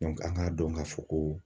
an ŋ'a dɔn ka fɔ ko